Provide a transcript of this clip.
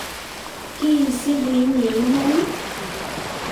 kiisiku inye iman?